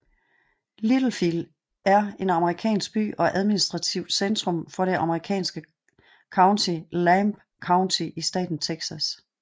Littlefield er en amerikansk by og administrativt centrum for det amerikanske county Lamb County i staten Texas